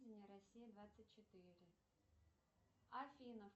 россия двадцать четыре афина